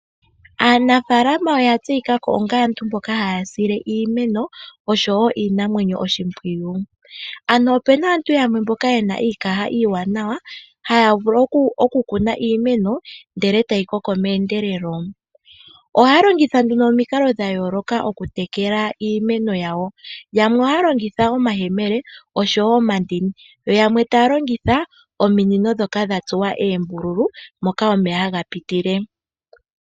Aanafaalama oya tseyika onga aantu mboka haya sile iimeno oshowo iinamwenyo oshimpwiyu, ano opena aantu yamwe mboka yena iikaha iiwanawa haya vulu oku kuna iimeno ndele tayi koko meendelelo. Ohaya longitha nduno omikalo dhayooloka okutekela iimeno yawo yamwe ohaya longitha omayemele oshowo omandini yo yamwe taya longitha ominino ndhoka dhatsuwa oombululu moka omeya haga pitile .